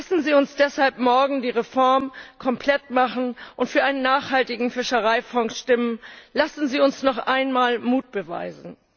Lassen Sie uns deshalb morgen die Reform komplett machen und für einen nachhaltigen Fischereifonds stimmen, lassen Sie uns noch einmal Mut beweisen!